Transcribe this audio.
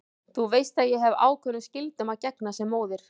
Þú veist að ég hef ákveðnum skyldum að gegna sem móðir.